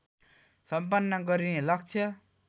सम्पन्न गरिने लक्ष्य